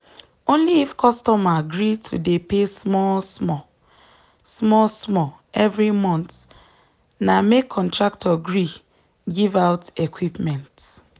only if customer gree to dey pay small small small small every month na make contractor gree give out equipment.